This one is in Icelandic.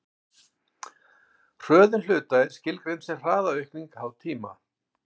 hröðun hluta er skilgreind sem hraðaaukning háð tíma